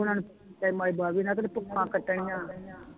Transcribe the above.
ਤੇ ਮਾਈ ਨਾਲ ਕੀਤੇ ਧੁਪਾਂ ਕੱਟਣੀਆਂ